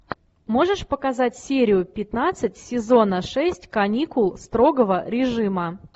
можешь показать серию пятнадцать сезона шесть каникул строгого режима